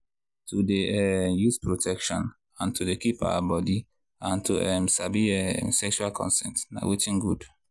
to dey um use protection and to dey keep our body and to um sabi um sexual consent na watin good.